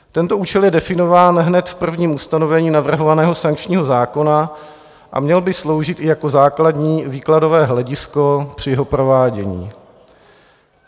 Tento účel je definován hned v prvním ustanovení navrhovaného sankčního zákona a měl by sloužit i jako základní výkladové hledisko při jeho provádění.